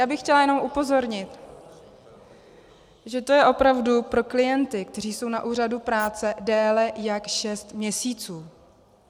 Já bych chtěla jenom upozornit, že to je opravdu pro klienty, kteří jsou na úřadu práce déle jak šest měsíců.